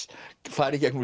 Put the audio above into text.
fara í gegnum